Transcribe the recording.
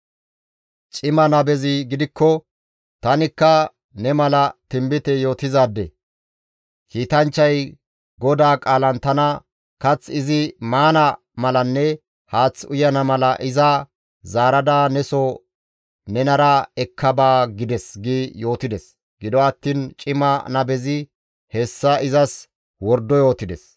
Cima nabezi gidikko, «Tanikka ne mala tinbite yootizaade; kiitanchchay GODAA qaalan tana, ‹Kath izi maana malanne haath uyana mala iza zaarada ne soo nenara ekka ba› gides» gi yootides. Gido attiin cima nabezi hessa izas wordo yootides.